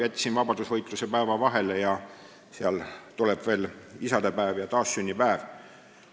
Jätsin vahele vastupanuvõitluse päeva, aga aasta lõpus tulevad veel isadepäev ja taassünnipäev.